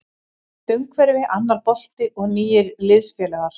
Nýtt umhverfi, annar bolti og nýir liðsfélagar.